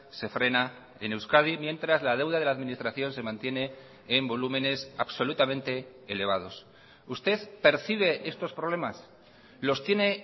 se frena en euskadi mientras la deuda de la administración se mantiene en volúmenes absolutamente elevados usted percibe estos problemas los tiene